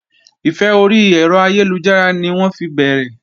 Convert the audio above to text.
Ìfẹ́ orí ẹ̀rọ ayélujára ni wọ́n fi bẹ̀rẹ̀